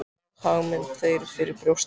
Berð hag minn þér fyrir brjósti.